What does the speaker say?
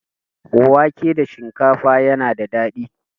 Wake da shinkafa yana da daɗi.